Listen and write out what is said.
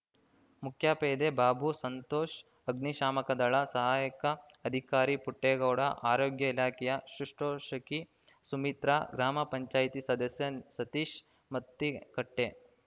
ಮುಖ್ಯ ಪೇದೆ ಬಾಬು ಸಂತೋಷ್‌ ಅಗ್ನಿಶಾಮಕದಳ ಸಹಾಯಕ ಅಧಿಕಾರಿ ಪುಟ್ಟೇಗೌಡ ಆರೋಗ್ಯ ಇಲಾಖೆಯ ಶುಶ್ರೂಷಕಿ ಸುಮಿತ್ರ ಗ್ರಾಮ ಪಂಚಾಯತಿ ಸದಸ್ಯ ಸತೀಶ್‌ ಮತ್ತಿಕಟ್ಟೆ